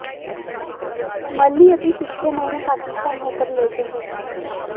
मल्ही अभी पिछले महीने पाकिस्तान हो कर लौटे हैं